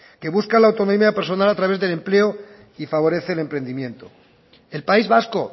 que busca la autonomía personal a través del empleo y favorece el emprendimiento el país vasco